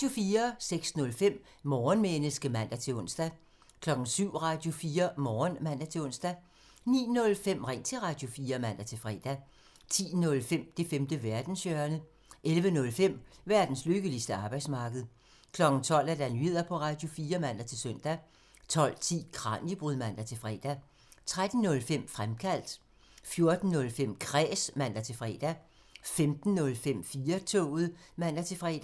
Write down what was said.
06:05: Morgenmenneske (man-ons) 07:00: Radio4 Morgen (man-ons) 09:05: Ring til Radio4 (man-fre) 10:05: Det femte verdenshjørne (man) 11:05: Verdens lykkeligste arbejdsmarked (man) 12:00: Nyheder på Radio4 (man-søn) 12:10: Kraniebrud (man-fre) 13:05: Fremkaldt (man) 14:05: Kræs (man-fre) 15:05: 4-toget (man-fre)